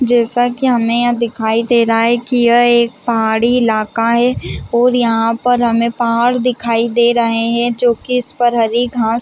जैसा की हमे यहाँ दिखाई दे रहा है की यह एक पहाड़ी ईलाका है और यहाँ पर हमें पहाड़ दिखाई दे रहे है जोकि इस पर हरी घास --